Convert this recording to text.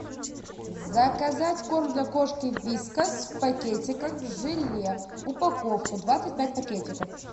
заказать корм для кошки вискас в пакетиках в желе упаковку двадцать пять пакетиков